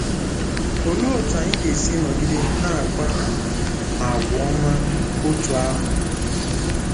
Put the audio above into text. Olee otú anyị ga-esi nọgide na-akpa àgwà ọma otú ahụ?